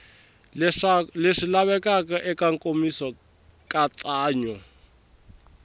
leswi lavekaka eka nkomiso nkatsakanyo